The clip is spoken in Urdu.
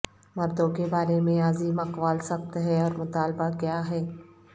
مردوں کے بارے میں عظیم اقوال سخت ہے اور مطالبہ کیا ہے